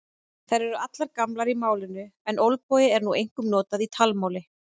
Þær eru allar gamlar í málinu en olbogi er nú einkum notað í talmáli.